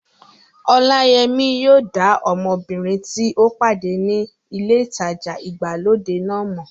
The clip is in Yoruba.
Ọláyẹmí yóò dá ọmọbìnrin tí ó pàdé ní ilé ìtajà ìgbàlódé náà mọ̀